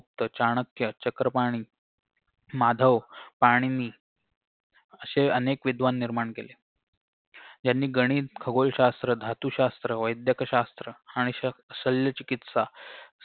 तर चाणक्य चक्रपाणी माधव पाणिनी अशे अनेक विद्वान निर्माण केले यांनी गणित खगोलशास्त्र धातुशास्त्र वैदकशास्त्र आणि श शल्यचिकित्सा